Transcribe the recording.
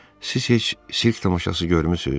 Siz heç sirk tamaşası görmüsüz?